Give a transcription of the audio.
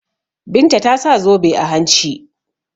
Binta ta sa zobe a hanci.